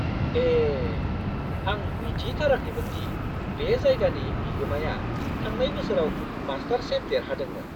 ए, आं मिथिथाराखैमोन दि बे जायगानि बिगोमाया थांनाय बोसोराव मास्टरशेफ देरहादोंमोन!